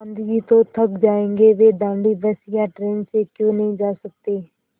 गाँधी जी तो थक जायेंगे वे दाँडी बस या ट्रेन से क्यों नहीं जा सकते